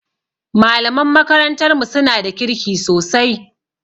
Malaman makarantar mu suna da kirki sosai